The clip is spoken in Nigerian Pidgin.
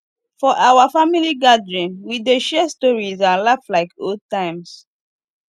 for our family gathering we dey share stories and laugh like old times